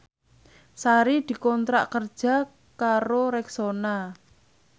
Sari dikontrak kerja karo Rexona